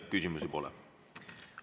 Küsimusi ei ole.